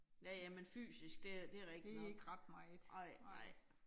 Ja ja, men fysisk det det rigtig nok. Nej, nej